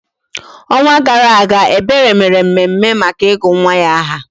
Ọnwa gara aga, Ebere mere mmemme maka ịgụ nwa ya nwaanyị aha